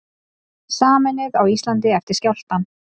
Sameinuð á Íslandi eftir skjálftann